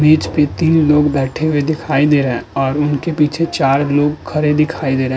बीच पे तीन लोग बैठे हुए दिखाई दे रहे और उनके पीछे चार लोग खड़े दिखाई दे रहे --